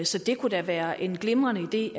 så det kunne da være en glimrende idé